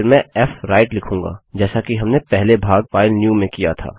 और फिर मैं फ्व्राइट लिखूँगा जैसा कि हमने अपने पहले भाग फाइलन्यू में किया था